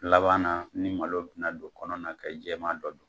Laban na, ni malo bɛna don kɔnɔna na ka yi jɛman dɔ don